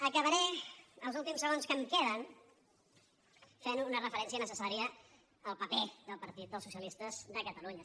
acabaré els últims segons que em queden fent una referència necessària al paper del partit dels socialistes de catalunya